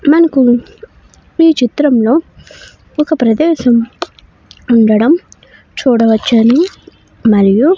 మనకు ఈ చిత్రంలో ఒక ప్రదేశం ఉండడం చూడవచ్చును. మరియు--